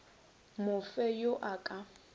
mo fe yo a ka